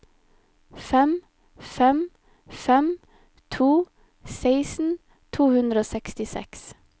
fem fem fem to seksten to hundre og sekstiseks